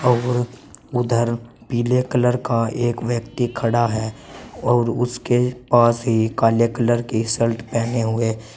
और उधर पीले कलर का एक व्यक्ति खड़ा है और उसके पास ही काले कलर की शर्ट हुए--